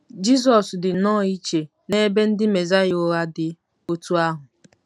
Jizọs dị nnọọ iche n'ebe ndị Mesaya ụgha dị otú ahụ.